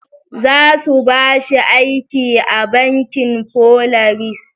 Za su ba shi aiki a bankin Polaris.